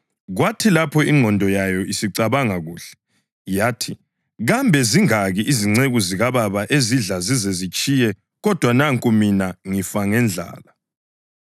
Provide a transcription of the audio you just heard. Kwathi lapho ingqondo yayo isicabanga kuhle, yathi, ‘Kambe zingaki izinceku zikababa ezidla zizezitshiye kodwa nanku mina ngifa ngendlala!